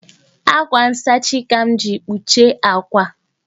Ákwà nsachi àkwà ka m jiri kpuchie àkwà